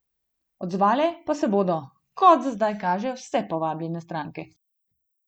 Odzvale pa se bodo, kot za zdaj kaže, vse povabljene stranke.